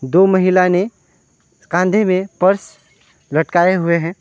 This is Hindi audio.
दो महिला ने कांधे में पर्स लटकाए हुए हैं।